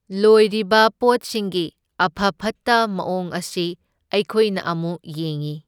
ꯂꯣꯏꯔꯤꯕ ꯄꯣꯠꯁꯤꯡꯒꯤ ꯑꯐ ꯐꯠꯇ ꯃꯑꯣꯡ ꯑꯁꯤ ꯑꯩꯈꯣꯏꯅ ꯑꯃꯨꯛ ꯌꯦꯡꯢ꯫